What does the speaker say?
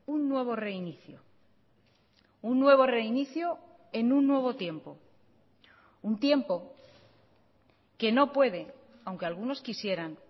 un nuevo reinicio un nuevo reinicio en un nuevo tiempo un tiempo que no puede aunque algunos quisieran